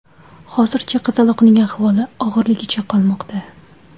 Hozircha qizaloqning ahvoli og‘irligicha qolmoqda.